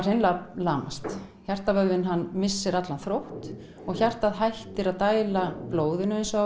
hreinlega lamast hjartavöðvinn missir allan þrótt og hjartað hættir að dæla blóðinu eins og